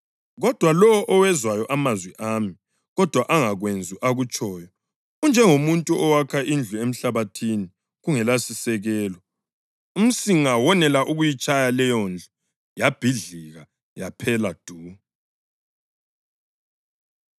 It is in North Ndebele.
Kodwa lowo owezwayo amazwi ami, kodwa angakwenzi akutshoyo, unjengomuntu owakha indlu emhlabathini kungelasisekelo. Umsinga wonela ukuyitshaya leyondlu, yabhidlika yaphela du.”